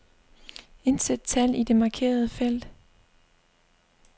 Indsæt tal i det markerede felt.